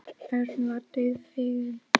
Örn varð dauðfeginn.